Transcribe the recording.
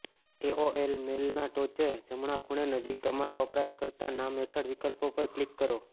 AOL મેલના ટોચે જમણા ખૂણે નજીક તમારા વપરાશકર્તા નામ હેઠળ વિકલ્પો પર ક્લિક કરો